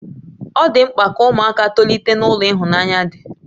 Ọ dị mkpa ka ụmụaka tolite n'ulo ịhụnanya dị